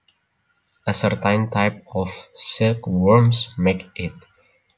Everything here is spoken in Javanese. A certain type of silk worms make it